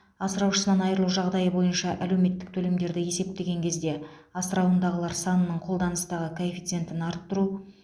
асыраушысынан айырылу жағдайы бойынша әлеуметтік төлемдерді есептеген кезде асырауындағылар санының қолданыстағы коэффициентін арттыру